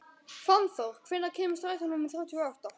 Fannþór, hvenær kemur strætó númer þrjátíu og átta?